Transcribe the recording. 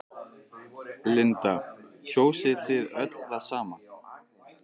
Linda: Kjósið þið öll það sama?